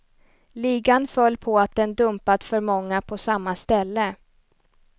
Ligan föll på att den dumpat för många på samma ställe.